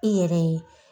I yɛrɛ ye